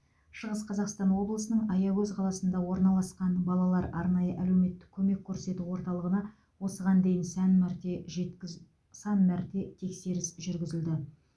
шығыс қазақстан облысының аягөз қаласында орналасқан балалар арнайы әлеуметтік көмек көрсету орталығына осыған дейін сән мәрте жеткіз сан мәрте тексеріс жүргізілді